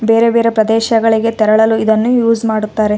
ಇಲ್ಲಿ ಒಂದು ರಸ್ತೆ ಇದೆ ಇಲ್ಲಿ ರಸ್ತೆಲಿ ಒಂದು ಕಾರ್‌ ನಿಂತಿದೆ ಇಲ್ಲಿ ಮುಂದಗಡೆ ಎಲ್ಲಾ --